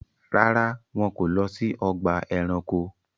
Ràrá, wọn ko lọ si ọgba ẹranko